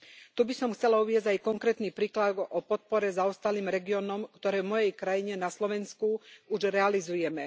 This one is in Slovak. Tu by som chcela uviesť aj konkrétny príklad o podpore zaostalých regiónoch, ktorú v mojej krajine, na Slovensku, už realizujeme.